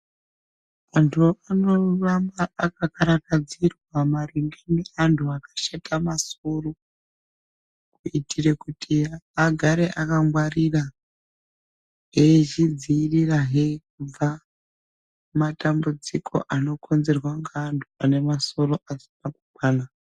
Antu anoramba akakarakadzirwa maringe neantu akashata masoro kuitire kuti agare akangwarira, eizvidzivirirahe kubva kumatambudziko anokonzerwa ngeantu ane masoro asina kukwana.